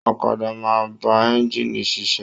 Ọ̀kàdà máa n ba ẹ̀ngiini ṣiṣẹ